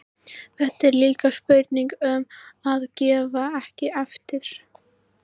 Þetta er líka spurning um að gefa ekki eftir.